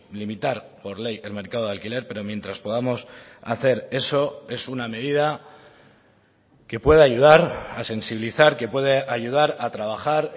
limitar por ley el mercado de alquiler pero mientras podamos hacer eso es una medida que puede ayudar a sensibilizar que puede ayudar a trabajar